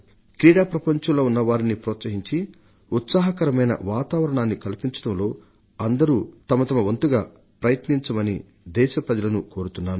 క్రీడా ప్రపంచంలో ఉన్నవారిని ప్రోత్సహించి ఉత్సాహకరమైన వాతావరణాన్ని కల్పించడంలో తమ తమ వంతు ప్రయత్నించమని దేశ ప్రజలను కోరుతున్నాను